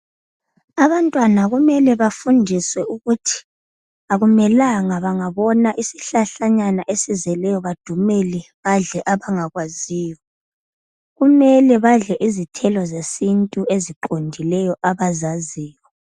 Abantwana kumele bafundiswe ukuthi akumelanga bangabona isihlahla nyana esizeleyo badumele badle abangakwaziyo kumele badle izithelo zesintu eziqondileyo abazaziyo.